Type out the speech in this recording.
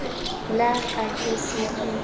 la ka ke se ke